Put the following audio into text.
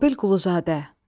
Mobil Quluzadə.